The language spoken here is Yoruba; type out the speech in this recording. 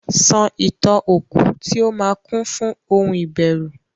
sọ Ìtàn okú tí ó máa kún fún ohun ìbẹ̀rùn.